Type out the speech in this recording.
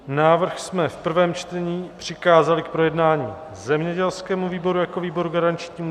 Návrh jsme v prvém čtení přikázali k projednání zemědělskému výboru jako výboru garančnímu.